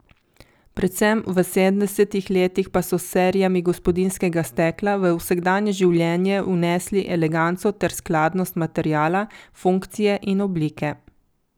Predvsem v sedemdesetih letih pa so s serijami gospodinjskega stekla v vsakdanje življenje vnesli eleganco ter skladnost materiala, funkcije in oblike.